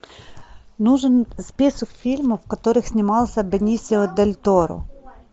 нужен список фильмов в которых снимался бенисио дель торо